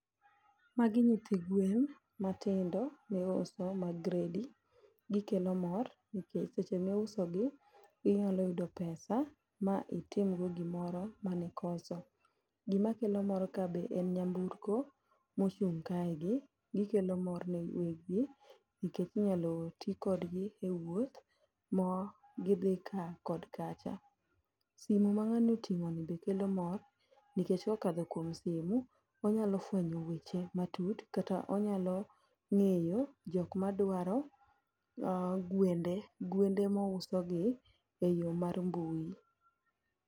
Magi nyithi gwen matindo miuso ma gredi, gikelo mor nikech seche miusogi, inyalo yudo pesa ma itimgo gimoro ma ni kocha. Gima kelo mor ka be en nyamburko mochung' kae be, gikelo mor ne weg gi nikech inyalo ti kodgi e wuoth ma gidhi ka kod kacha. Simu ma ng'ani oting'o ni be kelo mor, nikech kokadho kuom simu, onyalo fwenyo weche matut kata onyalo ng'eyo jok madwaro gwende, gwende mouso gi e yor mar mbui.